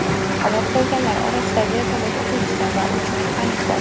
Halok bo‘lganlar orasida vertolyot uchuvchisi va uch mexanik bor.